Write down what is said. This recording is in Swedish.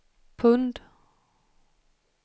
pund